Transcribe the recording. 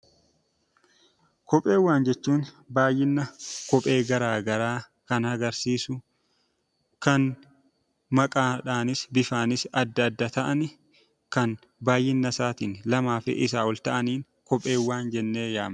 Kopheewwan jechuun baay'ina kophee gara garaa kan agarsiisu, kan maqaadhaanis bifaanis addaa adda ta'an, kan baay'ina isaaniitiin lamaafi isaa ol ta’an kopheewwan jennee yaamna.